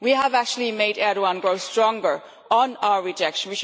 We have actually made Erdoğan grow stronger on our rejection.